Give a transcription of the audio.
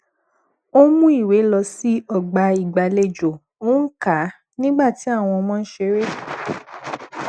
ó mú ìwé lọ sí ọgbà ìgbàlejò ó ń kà á nígbà tí àwọn ọmọ ń ṣeré